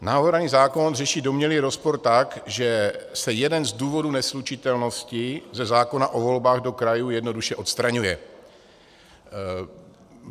Navrhovaný zákon řeší domnělý rozpor tak, že se jeden z důvodů neslučitelnosti ze zákona o volbách do krajů jednoduše odstraňuje.